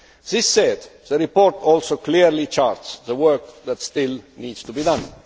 This said, the report also clearly charts the work that still needs to be done.